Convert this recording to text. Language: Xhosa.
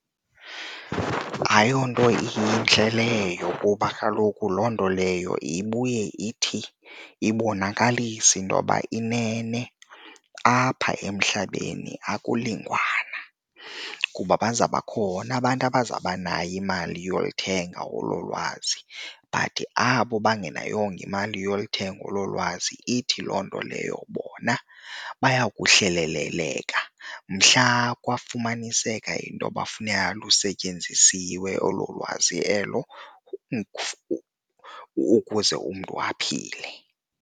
Ayonto intle leyo kuba kaloku loo nto leyo ibuye ithi ibonakalise intoba inene apha emhlabeni akulinganwa. Juba baza bakhona abantu abazaba nayo imali yokulithenga olo lwazi but abo bangenayongo imali yokulithenga olo lwazi, ithi loo nto leyo bona baya kuhleleleleka bona mhla kwafumaniseka into yoba funeka lusetyenzisiwe olo lwazi elo ukuze umntu aphile.